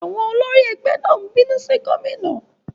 Àwọn olórí ẹgbẹ́ náà ń bínú sí gómìnà.